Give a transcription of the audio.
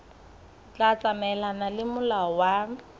tla tsamaelana le molao wa